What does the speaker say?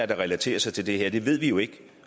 der relaterer sig til det her det ved vi jo ikke